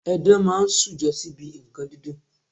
Edan máa ń ṣujọ sí ibi nǹkan dídùn.